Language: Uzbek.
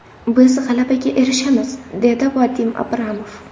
Biz g‘alabaga erishamiz”, – dedi Vadim Abramov.